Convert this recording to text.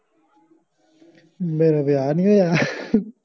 ਮੇਰਾ ਵੀਆਹ ਨਹੀਂ ਹੋਇਆ